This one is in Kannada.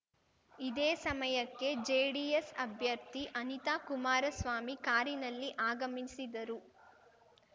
ಇದೇ ಸಮಯಕ್ಕೆ ಜೆಡಿಎಸ್‌ ಅಭ್ಯರ್ಥಿ ಅನಿತಾ ಕುಮಾರಸ್ವಾಮಿ ಕಾರಿನಲ್ಲಿ ಆಗಮಿಸಿದರು